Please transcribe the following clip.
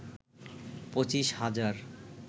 পঁচিশ হাজার